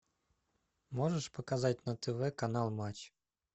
можешь показать на тв канал матч